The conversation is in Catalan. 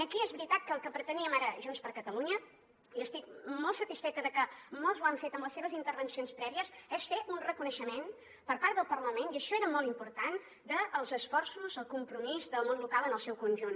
aquí és veritat que el que preteníem ara junts per catalunya i estic molt satisfeta de que molts ho han fet en les seves intervencions prèvies és fer un reconeixement per part del parlament i això era molt important dels esforços el compromís del món local en el seu conjunt